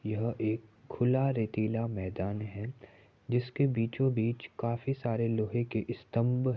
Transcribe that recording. यह एक खुला रेतिला मैदान है। जिसके बीचो-बीच काफी सारे लोहै के स्तंभ --